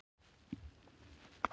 Dómald, hvað er opið lengi í Nóatúni?